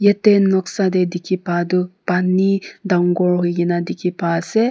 yete noksa de dikhi pa tu pani dangor hoi gina dikhi pai ase.